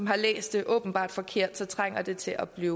har læst det åbenbart forkert så trænger det til at blive